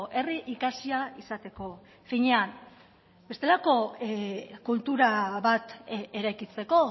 herri ikasia izateko finean bestelako kultura bat eraikitzeko